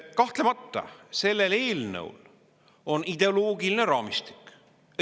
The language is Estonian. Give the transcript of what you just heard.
Kahtlemata, sellel eelnõul on ideoloogiline raamistik.